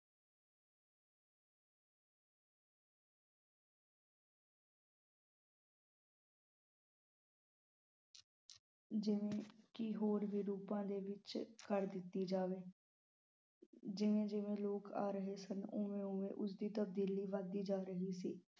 ਜਿਵੇ ਕਿ ਹੋਰ ਵੀ ਰੂਪਾ ਦੇ ਵਿਚ ਕਰ ਦਿਤੀ ਜਾਵੇ ਜਿਵੇ ਜਿਵੇ ਲੋਕ ਆ ਰਹੇ ਸਨ ਓਵੇ ਓਵੇ ਉਸਦੀ ਤਬਦੀਲੀ ਵੱਧ ਰਹੀ ਸੀ l